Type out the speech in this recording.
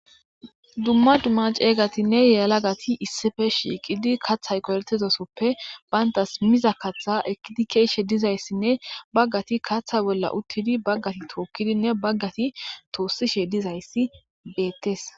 duma duma calatine yelagati issippe shiqidi kathay qoletidasoppe bantas miza katha ekidi ha ekidi kezizaysinne Bagati katha bolla utidine bagati hokidine tosishe dizayysi betes